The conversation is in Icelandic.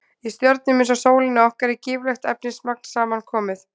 Í stjörnum eins og sólinni okkar er gífurlegt efnismagn saman komið.